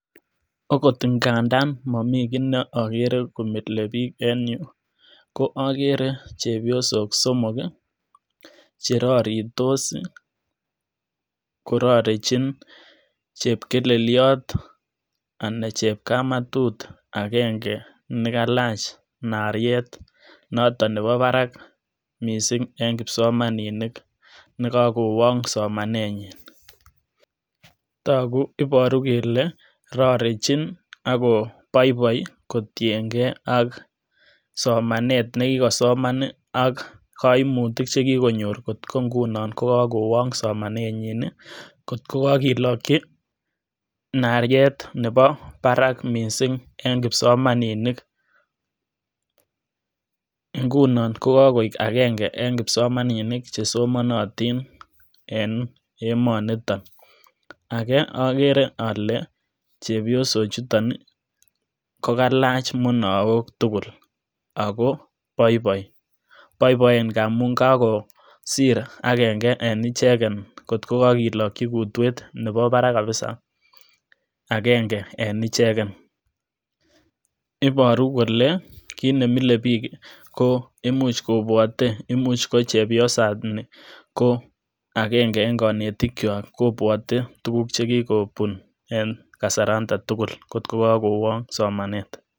Okot nda ngandan maroti kiit ne mile biik en yu ko agere chepyosok somok che roritos, kororichin chepkeleliot anan ko chepkamatut agenge ne kalach nariet noton nebo barak mising eng kipsomaninik ne kakuwang somanenyi, togu ,iboru kele rorichin aku boiboi kotienge ak somanet ne kikosoman ak kaimutik che kikonyor kotko nguno ko kakowong somanenyin, ko kakelokchi nariet nebo barak mising eng kipsomaninik. Nguno ko kakuek agenge eng kipsomaninik che somanatin eng emonito. ake agere ale chepyosochuton ko kalach munaok tugul ako boiboi, boiboi ngamun kakosir agenge eng icheken kotko kakelokchi kutwet nebo barak kabisa agenge eng icheken. iboru kole kiit ne mile biik ko imuch kobwote, imuch ko chepyosat ni ko agenge eng konetikyo kobwote tukuk che much ko bun eng kasaranda tugul kotko kakowong somanet.